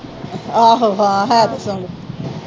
ਆਹੋ ਹਾਂ ਹੈ ਤਾਂ ਸੋਹਣੀ।